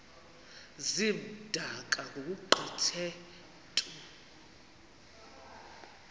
zimdaka ngokugqithe mntu